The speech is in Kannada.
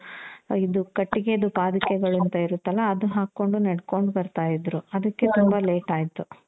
ಇದು ಕಟ್ಟಿಗೆದು ಪಾದುಕೆಗಳು ಅಂತ ಇರುತ್ತಲ ಅದು ಹಾಕೊಂಡು ನೆಡ್ಕೊಂಡು ಬರ್ತಾ ಇದ್ರು ಅದುಕ್ಕೆ ತುಂಬ late ಆಯ್ತು.